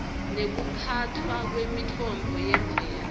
nekuphatfwa kwemitfombo yemvelo